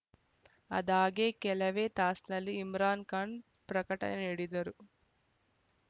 ಅದಾಗೆ ಕೆಲವೇ ತಾಸಲ್ಲಿ ಇಮ್ರಾನ್‌ ಖಾನ್‌ ಪ್ರಕಟಣೆ ನೀಡಿದರು